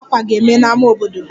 Mmemme Akwa Iwa ga-eme n'ámá obodo